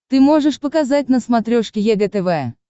ты можешь показать на смотрешке егэ тв